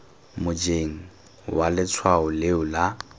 mojeng wa letshwao leo la